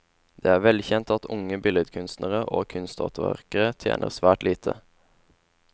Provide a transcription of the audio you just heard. Det er velkjent at unge billedkunstnere og kunsthåndverkere tjener svært lite.